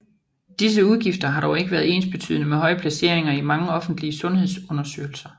Disse udgifter har dog ikke været ensbetydende med høje placeringer i mange offentlige sundhedsundersøgelser